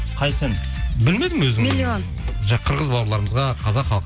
қайсысы ән білмедім өзің миллион жаңа қырғыз бауырларымызға қазақ халық